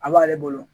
A b'ale bolo